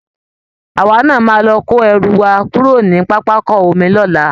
Àwa náa máa lọ kó ẹrù wa kúrò ní pápákọ omi lọ́la